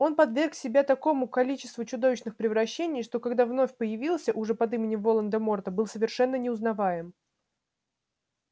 он подверг себя такому количеству чудовищных превращений что когда вновь появился уже под именем волан-де-морта был совершенно неузнаваем